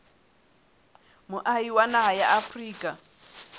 moahi wa naha ya afrika